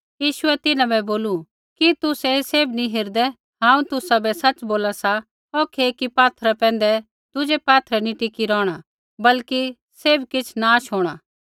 यीशुऐ तिन्हां बै बोलू कि तुसै ऐ सैभ नी हेरदै हांऊँ तुसाबै सच़ बोला सा औखै एकी पात्थरै पैंधै दुज़ा पात्थर नी टिकी रौहणा बल्कि सैभ किछ़ नाश होंणा